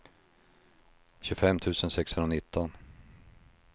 tjugofem tusen sexhundranitton